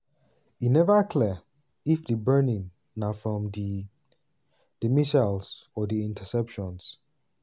e neva clear if di burning na from di di missiles or di interceptions.